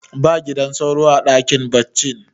ba gidan sauro a dakin baccin